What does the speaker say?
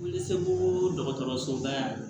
Wuli seko dɔgɔtɔrɔsoba la